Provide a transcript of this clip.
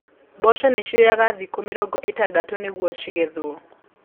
Mboco cioyaga thikũ mĩrongo itandatũ nĩguo cigethwo.